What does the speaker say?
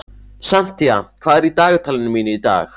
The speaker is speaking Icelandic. Santía, hvað er í dagatalinu mínu í dag?